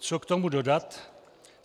Co k tomu dodat?